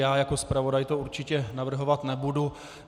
Já jako zpravodaj to určitě navrhovat nebudu.